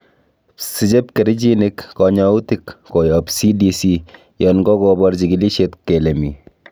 Siche pkerichinik konyoutik koyob CDC yon kokobor chikilisiet kele mi.